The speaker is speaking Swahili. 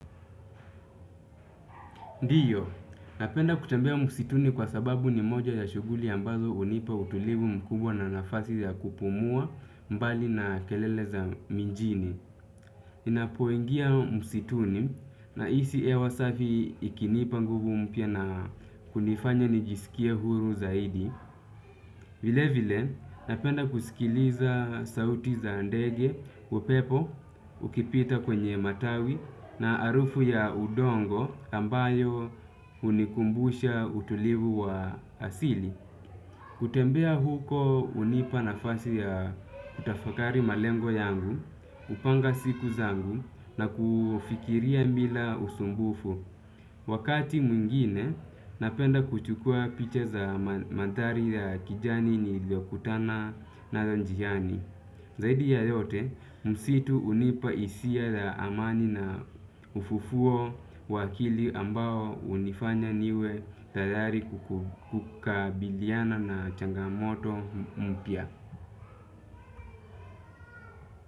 Ndiyo, napenda kutembea msituni kwa sababu ni moja ya shughuli ambazo hunipa utulivu mkubwa na nafasi ya kupumua mbali na kelele za mijini. Ninapoengia msituni nahisi hewa safi ikinipa nguvu mpya na kunifanya nijisikie huru zaidi. Vile vile napenda kusikiliza sauti za ndege upepo ukipita kwenye matawi na harufu ya udongo ambayo hunikumbusha utulivu wa asili. Kutembea huko hunipa nafasi ya kutafakari malengo yangu, kupanga siku zangu na kufikiria bila usumbufu. Wakati mwingine napenda kuchukua picha za manthari ya kijani niliyokutana nayo njiani. Zaidi ya yote msitu hunipa hisia ya amani na ufufuo wa akili ambao hunifanya niwe tayari kukabiliana na changamoto mpya.